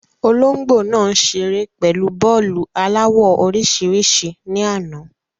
Olóńgbò nàá ṣeré pẹ̀lú bọ́ọ́lu aláwọ̀ orísìírísìí ní àná.